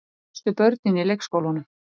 Elstu börnin í leikskólanum.